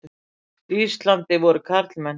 Íslandi voru karlmenn.